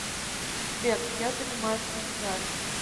сбер я занимаюсь на гитаре